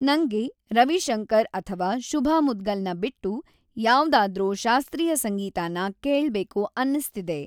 ನಂಗೆ ರವಿ ಶಂಕರ್ ಅಥವಾ ಶುಭಾ ಮುದ್ಗಲ್‌ನ ಬಿಟ್ಟು ಯಾವ್ದಾದ್ರೊ ಶಾಸ್ತ್ರೀಯ ಸಂಗೀತಾನ ಕೇಳ್ಬೇಕು ಅನ್ನಿಸ್ತಿದೆ